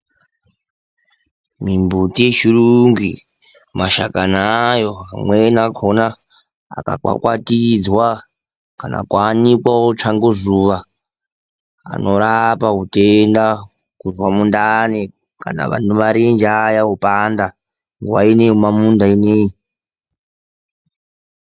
Mimbuti yechirungu iyi mashakani ayona amweni akona okwakwatidzwa kana kuyanikwa, otsva ngozuva. Anorapa utenda kubva mundani kana vane marenje evando opanda nguva ino yemunda ineii.